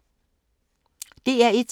DR1